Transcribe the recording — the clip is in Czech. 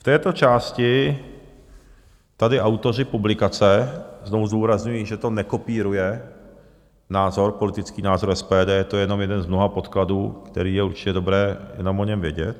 V této části tady autoři publikace - znovu zdůrazňuji, že to nekopíruje názor, politický názor SPD, je to jenom jeden z mnoha podkladů, který je určitě dobré jenom o něm vědět.